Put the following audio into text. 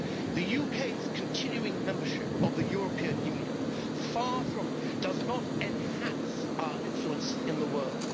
The UK's continuing membership of the European Union does not enhance our influence in the world.